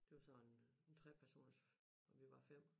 Det var sådan en 3-personers og vi var 5